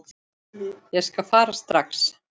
Ég skal fara strax.